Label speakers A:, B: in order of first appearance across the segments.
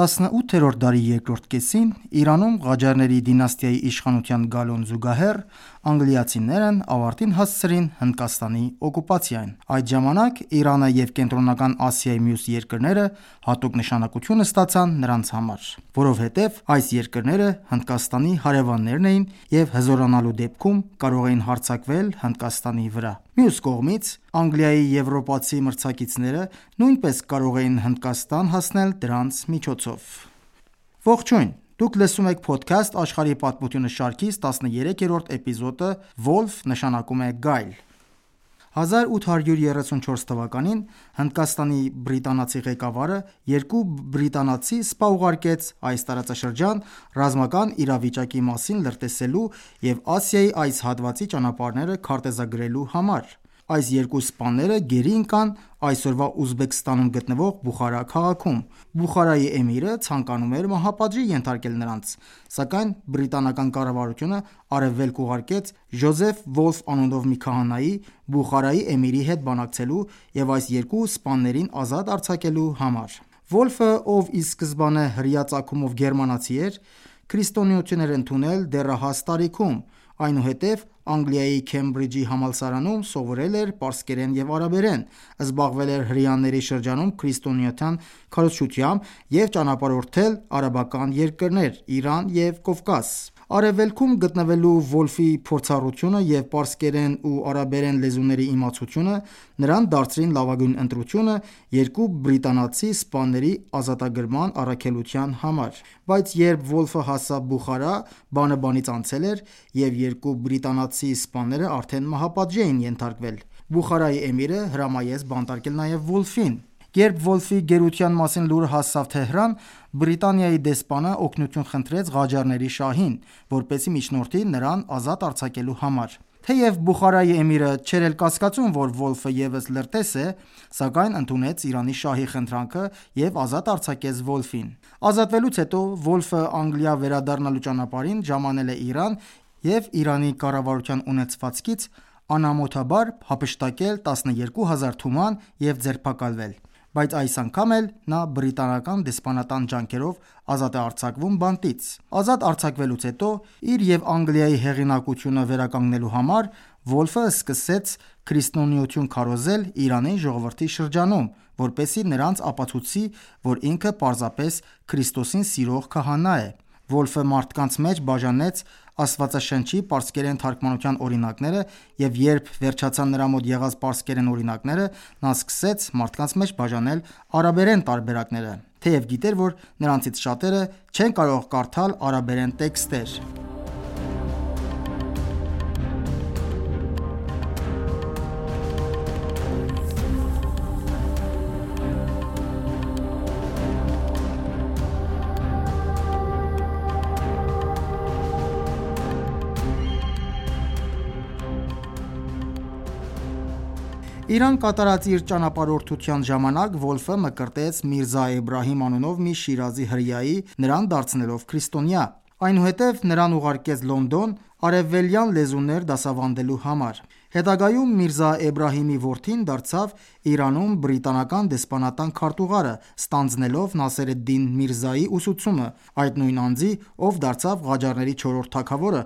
A: 18-րդ դարի երկրորդ կեսին Իրանում Ղաջարների դինաստիայի իշխանության գալուն զուգահեռ, անգլիացիներն ավարտին հասցրին Հնդկաստանի օկուպացիան։ Այդ ժամանակ Իրանը և Կենտրոնական Ասիայի մյուս երկրները հատուկ նշանակություն ստացան նրանց համար։ Որովհետև այս երկրները Հնդկաստանի հարևաններն էին և հզորանալու դեպքում կարող էին հարձակվել Հնդկաստանի վրա: Մյուս կողմից, Անգլիայի եվրոպացի մրցակիցները նույնպես կարող էին Հնդկաստան հասնել դրանց միջոցով։ 1834 թվականին Հնդկաստանի բրիտանացի ղեկավարը երկու բրիտանացի սպա ուղարկեց այս տարածաշրջան՝ ռազմական իրավիճակի մասին լրտեսելու և Ասիայի այս հատվածի ճանապարհները քարտեզագրելու համար։ Այս երկու սպաները գերի ընկան այսօրվա Ուզբեկստանում գտնվող Բուխարա քաղաքում։ Բուխարայի էմիրը ցանկանում էր մահապատժի ենթարկել նրանց, սակայն բրիտանական կառավարությունը Արևելք ուղարկեց «Ջոզեֆ Վոլֆ» անունով մի քահանայի՝ Բուխարայի էմիրի հետ բանակցելու և այս երկու սպաներին ազատ արձակելու համար։ Վոլֆը, ով ի սկզբանե հրեական ծագումով գերմանացի էր, քրիստոնեություն էր ընդունել դեռահաս տարիքում, այնուհետև Անգլիայի Քեմբրիջի համալսարանում սովորել էր պարսկերեն և արաբերեն, զբաղվել էր հրեաների շրջանում քրիստոնեության քարոզչությամբ և ճանապարհորդել արաբական երկրներ, Իրան և Կովկաս: Արևելքում գտնվելու Վոլֆի փորձառությունը և պարսկերեն ու արաբերեն լեզուների իմացությունը նրան դարձրին լավագույն ընտրությունը երկու բրիտանացի սպաների ազատագրման առաքելության համար: Բայց երբ Վոլֆը հասավ Բուխարա, բանը բանից անցել էր, և երկու բրիտանացի սպաները արդեն մահապատժի էին ենթարկվել: Բուխարայի էմիրը հրամայեց բանտարկել նաև Վոլֆին։ Երբ Վոլֆի գերության մասին լուրը հասավ Թեհրան, Բրիտանիայի դեսպանը օգնություն խնդրեց Ղաջարների շահին, որպեսզի միջնորդի նրան ազատ արձակելու համար։ Թեեւ Բուխարայի էմիրը չէր էլ կասկածում, որ Վոլֆը ևս լրտես է, սակայն ընդունեց Իրանի շահի խնդրանքը եւ ազատ արձակեց Վոլֆին։ Ազատվելուց հետո Վոլֆը Անգլիա վերադառնալու ճանապարհին ժամանել է Իրան և Իրանի կառավարության ունեցվածքից անամոթաբար հափշտակել տասներկու հազար թուման և ձերբակալվել։ Բայց այս անգամ էլ նա Բրիտանական դեսպանատան ջանքերով ազատ է արձակվում բանտից։ Ազատ արձակվելուց հետո, իր և Անգլիայի հեղինակությունը վերականգնելու համար, Վոլֆը սկսեց քրիստոնեություն քարոզել Իրանի ժողովրդի շրջանում, որպեսզի նրանց ապացուցի, որ ինքը պարզապես Քրիստոսին սիրող քահանա է։ Վոլֆը մարդկանց մեջ բաժանեց Աստվածաշնչի պարսկերեն թարգմանության օրինակները, և երբ վերջացան նրա մոտ եղած պարսկերեն օրինակները, նա սկսեց մարդկանց մեջ բաժանել արաբերեն տարբերակները. Թեև գիտեր, որ նրանցից շատերը չեն կարող կարդալ արաբերեն տեքստեր։ Իրան կատարած իր ճանապարհորդության ժամանակ Վոլֆը մկրտեց Միրզա Էբրահիմ անունով մի Շիրազի հրեայի՝ նրան դարձնելով քրիստոնյա։ Այնուհետև նրան ուղարկեց Լոնդոն՝ արևելյան լեզուներ դասավանդելու համար։ Հետագայում Միրզա Էբրահիմի որդին դարձավ Իրանում բրիտանական դեսպանատան քարտուղարը՝ ստանձնելով Նասեր էդ-Դին Միրզայի ուսուցումը, այդ նույն անձի, ով դարձավ Ղաջարների չորրորդ թագավորը և Իրանում իշխեց հիսուն տարի: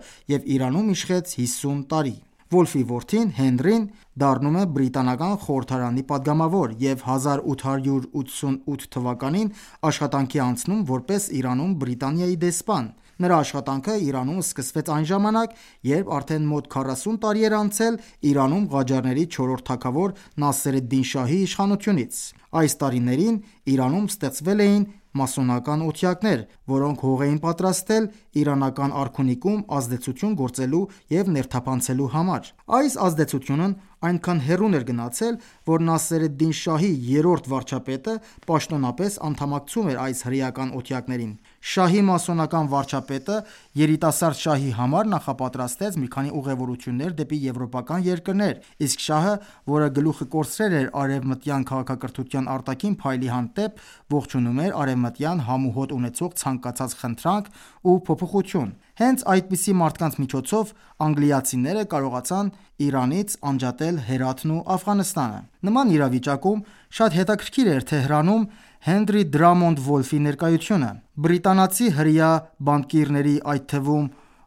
A: Վոլֆի որդին՝ «Հենրին», դառնում է բրիտանական խորհրդարանի պատգամավոր և 1888 թվականին աշխատանքի է անցնում որպես Իրանում Բրիտանիայի դեսպան։ Նրա աշխատանքը Իրանում սկսվեց այն ժամանակ, երբ արդեն մոտ քառասուն տարի էր անցել Իրանում Ղաջարների չորրորդ թագավոր Նասեր էդ-Դին շահի իշխանությունից։ Այս տարիներին Իրանում ստեղծվել էին մասոնական օթյակներ, որոնք հող էին պատրաստել իրանական արքունիքում ազդեցություն գործելու և ներթափանցելու համար։ Այս ազդեցությունն այնքան հեռուն էր գնացել, որ ՝ Նասեր էլ-Դին Շահի երրորդ վարչապետը պաշտոնապես անդամակցում էր այս հրեական օթյակներին։ Շահի մասոնական վարչապետը երիտասարդ շահի համար նախապատրաստեց մի քանի ուղևորություններ դեպի եվրոպական երկրներ, իսկ շահը, որը գլուխը կորցրել էր արևմտյան քաղաքակրթության արտաքին փայլի հանդեպ, ողջունում էր արևմտյան համ ու հոտ ունեցող ցանկացած խնդանք ու փոփոխություն: Հենց այդպիսի մարդկանց միջոցով անգլիացիները կարողացան Իրանից անջատել Հերաթն ու Աֆղանստանը։ Նման իրավիճակում շատ հետաքրքիր էր Թեհրանում Հենրի Դրամոնդ Վոլֆի (Henry Drummond Wolff) ներկայությունը։ Բրիտանացի հրեա բանկիրների, այդ թվում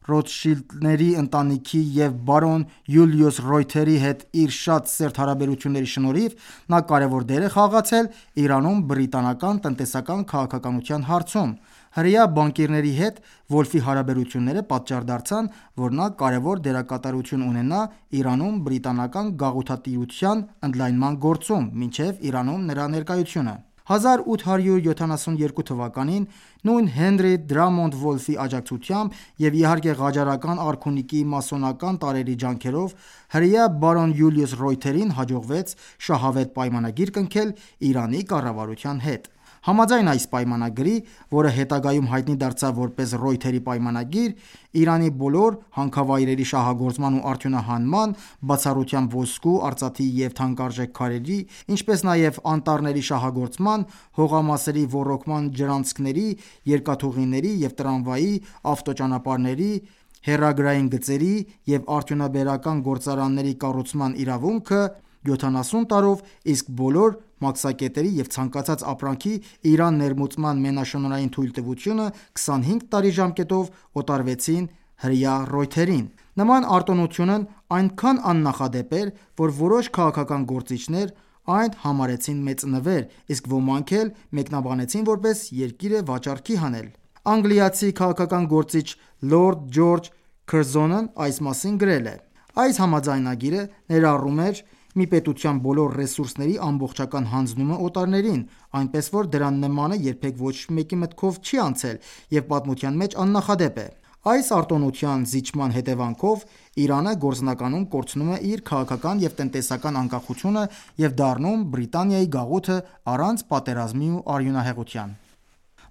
A: Ռոտշիլդների ընտանիքի (Rothschild family) և Բարոն Յուլիուս Ռոյթերի (Baron Julius Reuter) հետ իր շատ սերտ հարաբերությունների շնորհիվ, նա կարևոր դեր է խաղացել Իրանում բրիտանական տնտեսական քաղաքականության հարցում: Հրեա բանկիրների հետ Վոլֆի հարաբերությունները պատճառ դարձան, որ նա կարևոր դերակատարություն ունենա Իրանում բրիտանական գաղութատիրության ընդլայնման գործում՝ մինչև Իրանում նրա ներկայությունը։ 1872 թվականին նույն «Հենրի Դրամոնդ Վոլֆի» աջակցությամբ եւ իհարկե Ղաջարական արքունիքի մասոնական տարրերի ջանքերով հրեա Բարոն Յուլիուս Ռոյթերին հաջողվեց շահավետ պայմանագիր կնքել Իրանի կառավարության հետ։ Համաձայն այս պայմանագրի, որը հետագայում հայտնի դարձավ որպես Ռոյթերի պայմանագիր, Իրանի բոլոր հանքավայրերի շահագործման ու արդյունահանման, բացառությամբ ոսկու, արծաթի և թանկարժեք քարերի, ինչպես նաև անտառների շահագործման, հողամասերի ոռոգման ջրանցքների, երկաթուղիների և տրամվայի, ավտոճանապարհների, հեռագրային գծերի և արդյունաբերական գործարանների կառուցման իրավունքը 70 տարով, իսկ բոլոր մաքսակետերի և ցանկացած ապրանքի՝ Իրան ներմուծման մենաշնորհային թույլտվությունը 25 տարի ժամկետով օտարվեցին հրեա Reuter-ին։ Նման արտոնությունն այնքան աննախադեպ էր, որ որոշ քաղաքական գործիչներ այն համարեցին մեծ նվեր, իսկ ոմանք էլ մեկնաբանեցին որպես «երկիրը վաճառքի հանել»։ Անգլիացի քաղաքական գործիչ լորդ Ջորջ Քըրզոնն (Lord George Curzon) այս մասին գրել է. «Այս համաձայնագիրը ներառում էր մի պետության բոլոր ռեսուրսների ամբողջական հանձնումը օտարներին, այնպես որ դրա նմանը երբեք ոչ մեկի մտքով չի անցել և պատմության մեջ աննախադեպ է»: Այս արտոնության զիջման հետևանքով Իրանը գործնականում կորցնում էր իր քաղաքական և տնտեսական անկախությունը և դառնում Բրիտանայի գաղութը առանց պատերազմի ու արյունահեղության: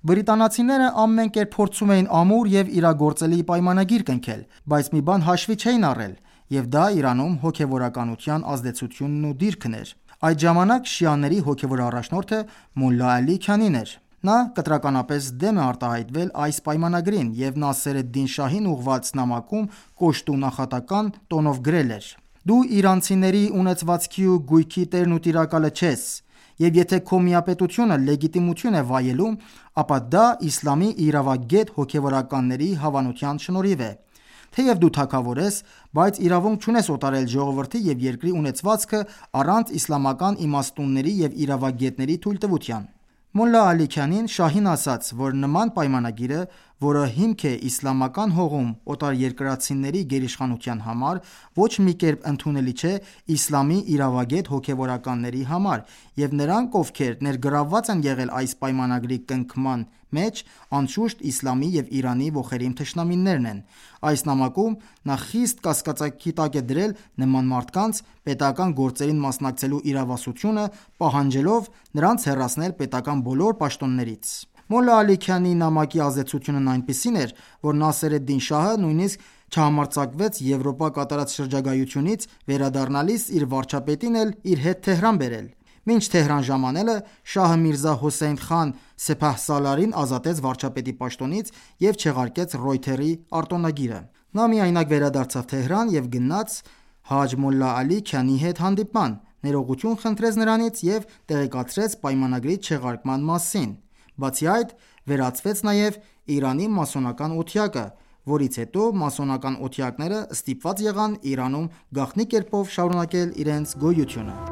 A: Բրիտանացիները ամեն կերպ փորձում էին ամուր և իրագործելի պայմանագիր կնքել, բայց մի բան հաշվի չէին առել. և դա Իրանում հոգևորականության ազդեցությունն ու դիրքն էր։ Այդ ժամանակ շիաների հոգևոր առաջնորդը Մոլլա Ալի Քանին (Mulla Ali Kani) էր։ Նա կտրականապես դեմ է արտահայտվել այս պայմանագրին և Նասեր էդ Դին Շահին ուղղված նամակում կոշտ ու նախատական տոնով գրել էր. «Դու իրանցիների ունեցվածքի ու գույքի տերն ու տիրակալը չես, և եթե քո միապետությունը լեգիտիմություն է վայելում, ապա դա իսլամի իրավագետ հոգևորականների հավանության շնորհիվ է: Թեև դու թագավոր ես, բայց իրավունք չունես օտարել ժողովրդի և երկրի ունեցվածքը առանց իսլամական իմաստունների և իրավագետների թույլտվության»: Մոլլա Ալի Քանին շահին ասաց, որ նման պայմանագիրը, որը հիմք է իսլամական հողում օտարերկրացիների գերիշխանության համար, ոչ մի կերպ ընդունելի չէ իսլամի իրավագետ հոգևորականների համար, և նրանք, ովքեր ներգրավված են եղել այս պայմանագրի կնքման մեջ, անշուշտ իսլամի և Իրանի ոխերիմ թշնամիներն են: Այս նամակում նա խիստ կասկածի տակ է դրել նման մարդկանց՝ պետական գործերին մասնակցելու իրավասությունը՝ պահանջելով նրանց հեռացնել պետական բոլոր պաշտոններից։ Մոլլա Ալի Քանիի նամակի ազդեցությունն այնպիսին էր, որ Նասեր Էդ-Դին Շահը նույնիսկ չհամարձակվեց Եվրոպա կատարած շրջագայությունից վերադառնալիս իր վարչապետին էլ իր հետ Թեհրան բերել։ Մինչ Թեհրան ժամանելը շահը Միրզա Հոսեյն խան Սեփահսալարին ազատեց վարչապետի պաշտոնից և չեղարկեց «Ռոյթեր»-ի արտոնագիրը։ Նա միայնակ վերադարձավ Թեհրան և գնաց Հաջ Մոլլա Ալի Քանիի հետ հանդիպման, ներողություն խնդրեց նրանից և տեղեկացրեց պայմանագրի չեղարկման մասին։ Բացի այդ, վերացվեց նաև Իրանի մասոնական օթյակը, որից հետո մասոնական օթյակները ստիպված եղան Իրանում գաղտնի կերպով շարունակել իրենց գոյությունը ։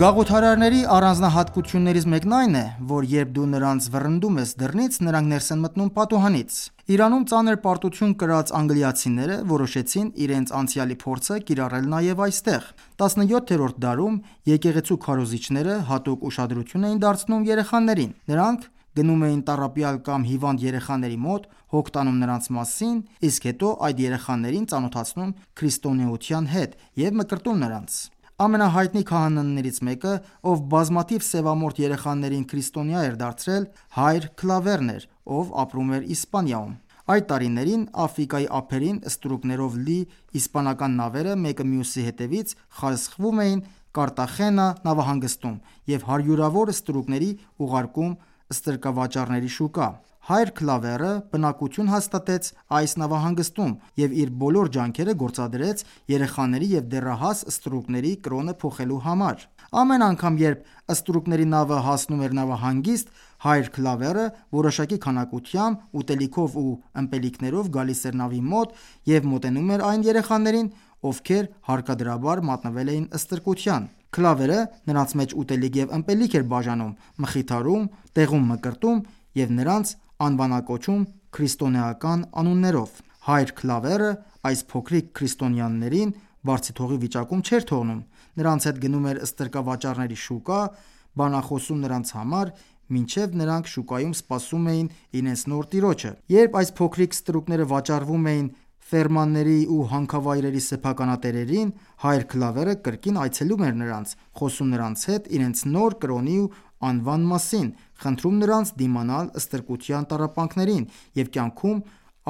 A: Գաղութարարների առանձնահատկություններից մեկն այն է, որ երբ դու նրանց վռնդում ես դռնից, նրանք ներս են մտնում պատուհանից: Իրանում ծանր պարտություն կրած անգլիացիները որոշեցին իրենց անցյալի փորձը կիրառել նաև այստեղ։ 17-րդ դարում եկեղեցու քարոզիչները հատուկ ուշադրություն էին դարձնում երեխաներին։ Նրանք գնում էին տառապյալ կամ հիվանդ երեխաների մոտ, հոգ տանում նրանց մասին, իսկ հետո այդ երեխաներին ծանոթացնում քրիստոնեության հետ և մկրտում նրանց: Ամենահայտնի քահանաներից մեկը, ով բազմաթիվ սևամորթ երեխաներին քրիստոնյա էր դարձրել, Հայր Քլավերն (Claver) էր, ով ապրում էր Իսպանիայում: Այդ տարիներին Աֆրիկայի ափերին ստրուկներով լի իսպանական նավերը մեկը մյուսի հետևից խարսխվում էին «Կարտախենա» (Cartagena) նավահանգստում և հարյուրավոր ստրուկների ուղարկում ստրկավաճառների շուկա։ Հայր Քլավերը բնակություն հաստատեց այս նավահանգստում և իր բոլոր ջանքերը գործադրեց երեխաների և դեռահաս ստրուկների կրոնը փոխելու համար։ Ամեն անգամ, երբ ստրուկների նավը հասնում էր նավահանգիստ, Հայր Քլավերը որոշակի քանակությամբ ուտելիքով ու ըմպելիքներով գալիս էր նավի մոտ և մոտենում էր այն երեխաներին, ովքեր հարկադրաբար մատնվել էին ստրկության։ Քլավերը նրանց մեջ ուտելիք և ըմպելիք էր բաժանում, մխիթարում, տեղում մկրտում և նրանց անվանակոչում քրիստոնեական անուններով։ Հայր Քլավերը այս փոքրիկ քրիստոնյաներին բարձիթողի վիճակում չէր թողնում. նրանց հետ գնում էր ստրկավաճառների շուկա, բանախոսում նրանց համար, մինչ նրանք շուկայում սպասում էին իրենց նոր տիրոջը։ Երբ այս փոքրիկ ստրուկները վաճառվում էին ֆերմաների ու հանքավայրերի սեփականատերերին, Հայր Քլավերը կրկին այցելում էր նրանց, խոսում նրանց հետ իրենց նոր կրոնի ու անվան մասին, խնդրում նրանց դիմանալ ստրկության տառապանքներին և կյանքում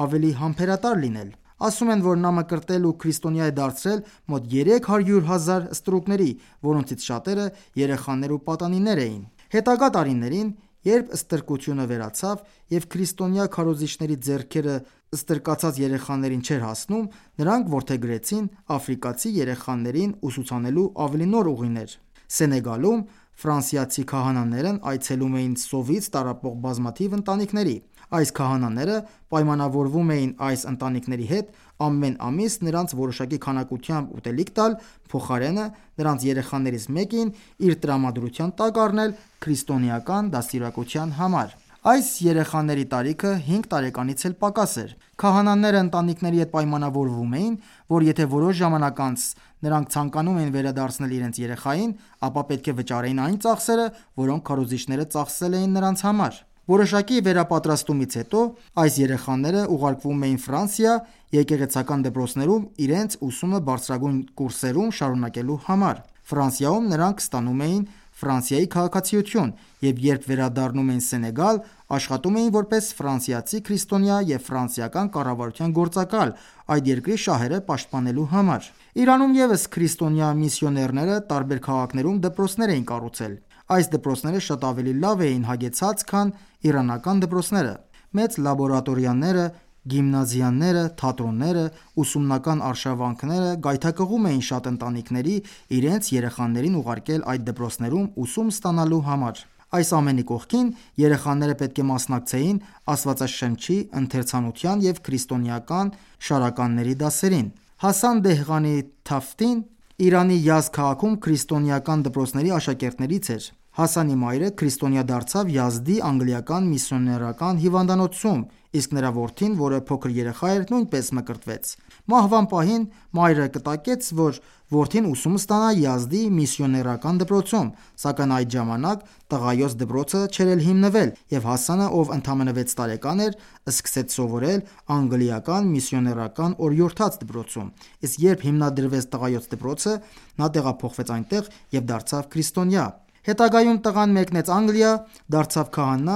A: ավելի համբերատար լինել: Ասում են, որ նա մկրտել ու քրիստոնյա է դարձրել մոտ երեք հարյուր հազար ստրուկների, որոնցից շատերը երեխաներ ու պատանիներ էին։ Հետագա տարիներին, երբ ստրկությունը վերացավ, և քրիստոնյա քարոզիչների ձեռքերը ստրկացած երեխաներին չէր հասնում, նրանք որդեգրեցին աֆրիկացի երեխաներին ուսուցանելու ավելի նոր ուղիներ։ Սենեգալում ֆրանսիացի քահանաներն այցելում էին սովից տառապող բազմաթիվ ընտանիքների։ Այս քահանաները պայմանավորվում էին այս ընտանիքների հետ ամեն ամիս նրանց որոշակի քանակությամբ ուտելիք տալ, փոխարենը նրանց երեխաներից մեկին իր տրամադրության տակ առնել քրիստոնեական դաստիարակության համար: Այս երեխաների տարիքը հինգ տարեկանից էլ պակաս էր։ Քահանաները ընտանիքների հետ պայմանավորվում էին, որ եթե որոշ ժամանակ անց նրանք ցանկանում էին վերադարձնել իրենց երեխային, ապա պետք է վճարեին այն ծախսերը, որոնք քարոզիչները ծախսել էին նրանց համար։ Որոշակի վերապատրաստումից հետո այս երեխաները ուղարկվում էին Ֆրանսիա՝ եկեղեցական դպրոցներում իրենց ուսումը բարձրագույն կուրսերում շարունակելու համար, Ֆրանսիայում նրանք ստանում էին Ֆրանսիայի քաղաքացիություն, և երբ վերադառնում էին Սենեգալ, աշխատում էին որպես ֆրանսիացի քրիստոնյա և ֆրանսիական կառավարության գործակալ՝ այդ երկրի շահերը պաշտպանելու համար։ Իրանում ևս քրիստոնյա միսիոներները տարբեր քաղաքներում դպրոցներ էին կառուցել։ Այս դպրոցները շատ ավելի լավ էին հագեցված, քան իրանական դպրոցները։ Մեծ լաբորատորիաները, գիմնազիաները, թատրոնները, ուսումնական արշավանքները գայթակղում էին շատ ընտանիքների՝ իրենց երեխաներին ուղարկել այդ դպրոցներում ուսում ստանալու համար։ Այս ամենի կողքին, երեխաները պետք է մասնակցեին Աստվածաշնչի ընթերցանության և քրիստոնեական շարականների դասերին։ Հասան Դեհղանի-Թաֆթին (Hassan Dehqani-Tafti) Իրանի Յազդ քաղաքում քրիստոնեական դպրոցների աշակերտներից էր։ Հասանի մայրը քրիստոնյա դարձավ Յազդի Անգլիական միսիոներական հիվանդանոցում, իսկ նրա որդին, որը փոքր երեխա էր, նույնպես մկրտվեց։ Մահվան պահին մայրը կտակեց, որ որդին ուսում ստանա Յազդի միսիոներական դպրոցում, սակայն այդ ժամանակ տղայոց դպրոցը դեռ չէր հիմնվել, և Հասանը, ով ընդամենը վեց տարեկան էր, սկսեց սովորել Անգլիական միսիոներական օրիորդաց դպրոցում, իսկ երբ հիմնադրվեց տղայոց դպրոցը, նա տեղափոխվեց այնտեղ և դարձավ քրիստոնյա։ Հետագայում տղան մեկնեց Անգլիա, դարձավ քահանա,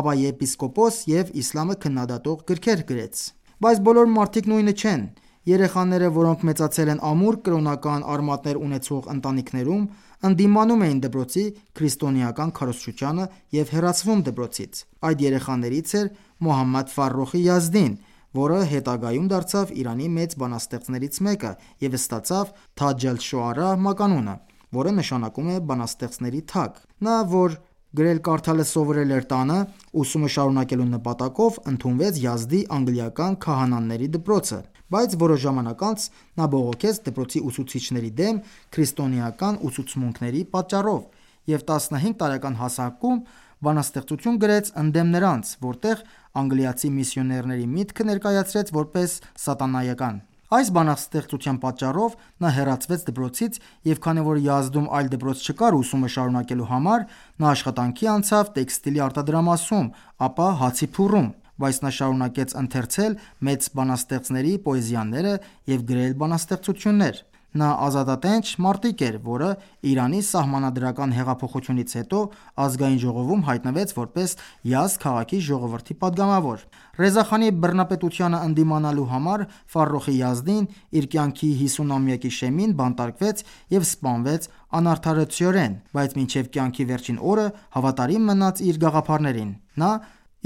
A: ապա եպիսկոպոս և իսլամը քննադատող գրքեր գրեց։ Բայց բոլոր մարդիկ նույնը չէն: Երեխաները, որոնք մեծացել են ամուր կրոնական արմատներ ունեցող ընտանիքներում, ընդդիմանում էին դպրոցի քրիստոնեական քարոզչությանը և հեռացվում դպրոցից: Այդ երեխաներից էր Մոհամմեդ Ֆարոխի Յազդին, որը հետագայում դարձավ Իրանի մեծ բանաստեղծներից մեկը, և ստացավ «Թաջ ալ-Շոարա» մականումը, որը նշանակում է բանաստեղծների թագը։ Նա, որ գրել-կարդալը սովորել էր տանը, ուսումը շարունակելու նպատակով ընդունվեց Յազդի անգլիական քահանաների դպրոցը։ Բայց որոշ ժամանակ անց նա բողոքեց դպրոցի ուսուցիչների դեմ՝ քրիստոնեական ուսուցմունքների պատճառով, և տասնհինգ տարեկան հասակում բանաստեղծություն գրեց ընդդեմ նրանց, որտեղ անգլիացի միսիոներների միտքը ներկայացրեց որպես «սատանայական»։ Այս բանաստեղծության պատճառով նա հեռացվեց դպրոցից և քանի որ Յազդում այլ դպրոց չկար ուսումը շարունակելու համար, նա աշխատանքի անցավ տեքստիլի արտադրամասում, ապա հացի փուռում։ Բայց նա շարունակեց ընթերցել մեծ բանաստեղծների պոեզիաները և գրել բանաստեղծություններ։ Նա ազատատենչ մարտիկ էր, որը Իրանի Սահմանադրական Հեղափոխությունից հետո Ազգային ժողովում հայտնվեց որպես Յազդ քաղաքի ժողովրդի պատգամավոր։ Ռեզա խանի բռնապետությանը ընդդիմանալու համար Ֆարոխի Յազդին իր կյանքի 50-ամյակի շեմին բանտարկվեց և սպանվեց անարդարացիորեն, բայց մինչև կյանքի վերջին օրը հավատարիմ մնաց իր գաղափարներին։ Նա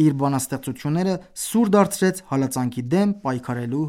A: իր բանաստեղծությունները սուր դարձրեց հալածանքի դեմ պայքարելու